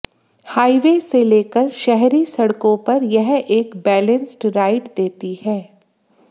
highway से लेकर शहरी सड़कों पर यह एक बैलेंस्ड राइड देती है